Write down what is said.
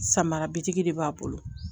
Samara bitigi de b'a bolo